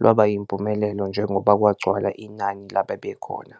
lwaba yimpumelelo njengoba kwagcwala inani lababekhona.